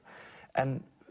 en